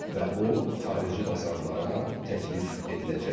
Və o xarici bazarlara təklif ediləcəkdir.